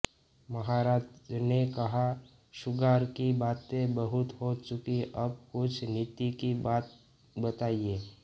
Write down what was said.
महाराज ने कहा शृंगार की बातें बहुत हो चुकीं अब कुछ नीति की बात बताइये